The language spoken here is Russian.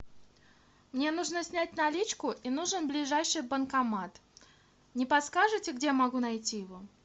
мне нужно снять наличку и нужен ближайший банкомат не подскажите где я могу найти его